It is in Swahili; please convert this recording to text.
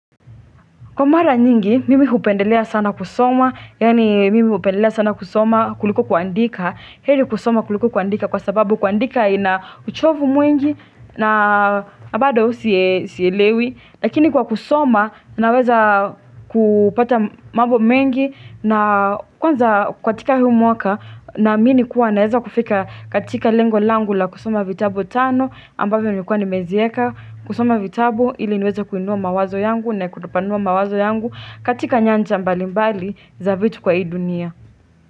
Kwa mara nyingi, mimi upendelea sana kusoma, yaani mimi upendelea sana kusoma kuliko kuandika Heri kusoma kuliko kuandika kwa sababu kuandika ina uchovu mwingi na abada usielewi. Lakini kwa kusoma, naweza kupata mambo mengi na kwanza kwa tika huu mwaka namini kuwa naweza kufika katika lengo langu la kusoma vitabu tano ambavyo nimekuwa nimezieka kusoma vitabu ili niweza kuinua mawazo yangu na kutopanua mawazo yangu katika nyanja mbali mbali za vitu kwa hii dunia.